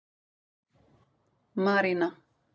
Marína